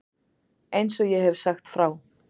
Eins og ég hef sagt frá.